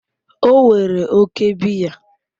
O were oke biya